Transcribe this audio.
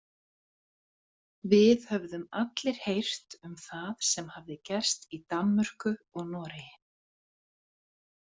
Við höfðum allir heyrt um það sem hafði gerst í Danmörku og Noregi.